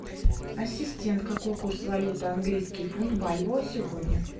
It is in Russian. ассистент какой курс валюты английский фунт бальбоа сегодня